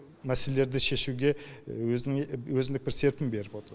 мәселелерді шешуге өзіндік бір серпін беріп отыр